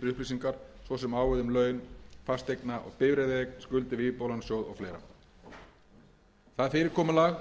upplýsingar svo sem á við um laun fasteigna og bifreiðaeign skuldir við íbúðalánasjóð og fleira það fyrirkomulag